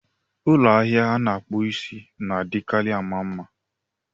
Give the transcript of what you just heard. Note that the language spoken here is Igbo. Ụlọ ahịa ana-akpụ isí na-adịkarị ama mma